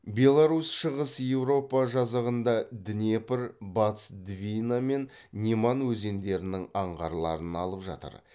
беларусь шығыс еуропа жазығында днепр батыс двина мен неман өзендерінің аңғарларын алып жатыр